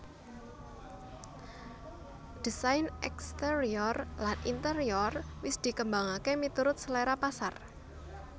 Désain exterior lan interior wis dikembangaké miturut selera pasar